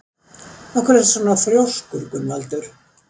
Af hverju ertu svona þrjóskur, Gunnvaldur?